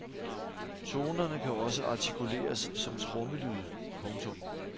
Tonerne kan også artikuleres som trommelyde. punktum